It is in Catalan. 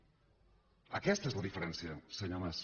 aquesta és la diferència senyor mas